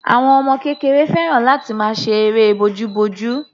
Àwọn ọmọ kékeré fẹ́ràn láti máa ṣe eré bojúbojú.